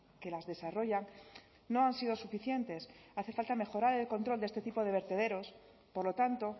que las desarrollan no han sido suficientes hace falta mejorar el control de este tipo de vertederos por lo tanto